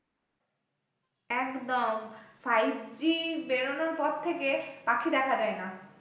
একদম, five G বেরোনোর পর থেকে পাখি দেখা যায় না।